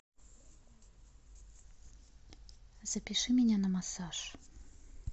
запиши меня на массаж